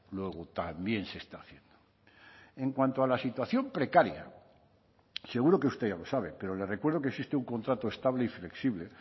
luego también se está haciendo en cuanto a la situación precaria seguro que usted ya lo sabe pero le recuerdo que existe un contrato estable y flexible